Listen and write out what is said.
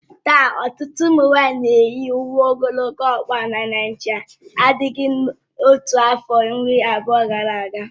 Taa, ọtụtụ ụmụ nwanyị na-eyi uwe ogologo ọkpa na Naijiria n'adịghị otu a afọ iri abụọ gara aga